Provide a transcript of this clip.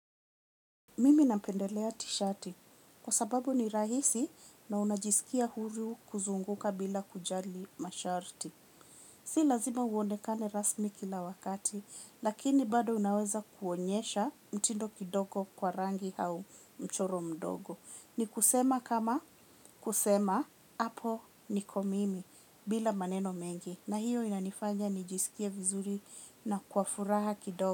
Mimi napendelea t-shati kwa sababu ni rahisi na unajisikia huru kuzunguka bila kujali masharti. Si lazima uonekane rasmi kila wakati lakini bado unaweza kuonyesha mtindo kidogo kwa rangi au mchoro mdogo. Ni kusema kama kusema hapo niko mimi bila maneno mengi na hiyo inanifanya nijisikie vizuri na kwafuraha kidogo.